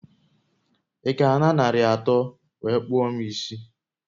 I ga a na nari atọ nwere kpụọ m isi?